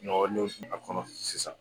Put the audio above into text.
Ɲɔgɔn fana kɔnɔ sisan